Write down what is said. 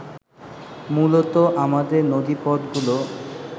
মূলত আমাদের নদীপথগুলো